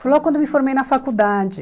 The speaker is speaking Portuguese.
Foi logo quando eu me formei na faculdade.